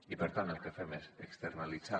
i per tant el que fem és externalitzar